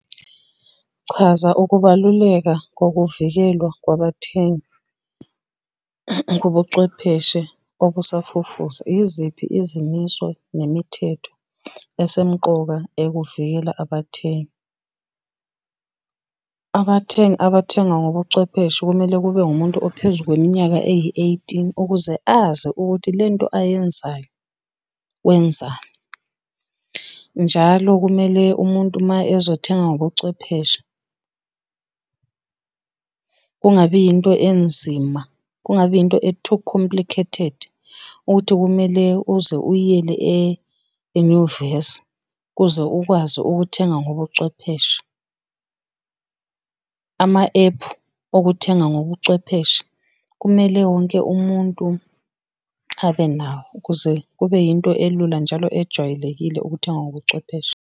Chaza ukubaluleka kokuvikelwa kwabathengi kobuchwepheshe obusafufusa. Iziphi izimiso nemithetho esemuqoka ekuvikela abathengi? Abathengi abathenga ngobuchwepheshe kumele kube ngumuntu ophezu kweminyaka eyi-eighteen ukuze azi ukuthi lento ayenzayo, wenzani. Njalo kumele umuntu uma ezothenga ngobuchwephesha kungabi into enzima, kungabi into e-too complicated, ukuthi kumele uze uyiyele enyuvesi kuze ukwazi ukuthenga ngobuchwepheshe. Ama-ephu okuthenga ngobuchwepheshe, kumele wonke umuntu abe nawo ukuze kube into elula njalo ejwayelekile ukuthenga ngobuchwepheshe.